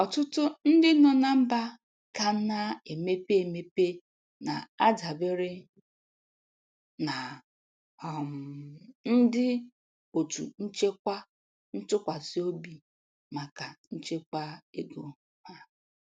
Ọtụtụ ndị nọ na mba ka na-emepe emepe na-adabere na um ndị otu nchekwa ntụkwasị obi maka nchekwa ego ha.